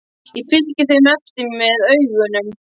Ég fylgdi þeim eftir með augunum.